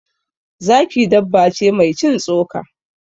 Zaki dabba ce mai cin tsoka.